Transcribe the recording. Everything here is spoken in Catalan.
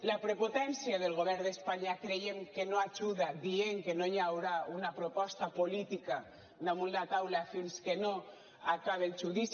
la prepotència del govern d’espanya creiem que no hi ajuda dient que no hi haurà una proposta política damunt la taula fins que no acabe el judici